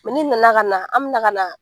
ni nana ka na , an be na ka na